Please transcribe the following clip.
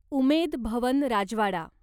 उमेद Bhawan राजवाडा